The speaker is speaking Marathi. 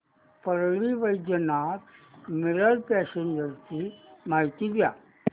परळी वैजनाथ मिरज पॅसेंजर ची माहिती द्या